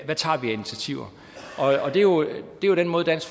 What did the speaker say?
hvad tager vi af initiativer det er jo den måde dansk